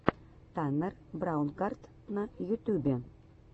таннер браунгарт на ютюбе